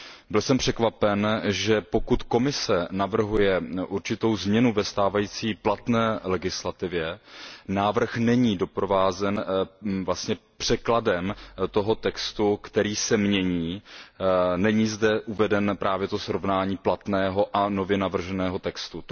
Byl jsem překvapen, že pokud Komise navrhuje určitou změnu ve stávající platné legislativě, návrh není doprovázen překladem toho textu, který se mění, není zde uvedeno právě to srovnání platného a nově navrženého textu.